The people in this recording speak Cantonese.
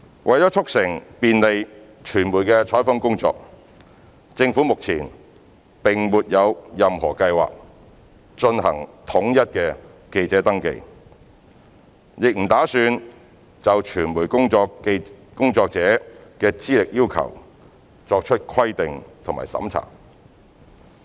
為促成便利傳媒的採訪工作，政府目前並沒有任何計劃進行統一的記者登記，亦不打算就傳媒工作者的資歷要求作出規定和審查。